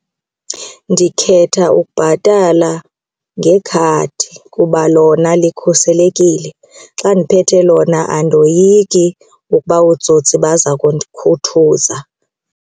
Ndikhetha ukubhatala ngekhadi kuba lona likhuselekile. Xa ndiphethe lona andoyiki ukuba ootsotsi baza kundikhuthuza.